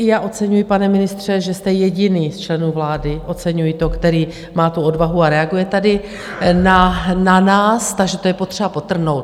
I já oceňuji, pane ministře, že jste jediný z členů vlády, oceňuji to, který má tu odvahu a reaguje tady na nás, takže to je potřeba podtrhnout.